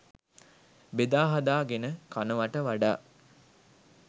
බෙදාහදා ගෙන කනවට වඩා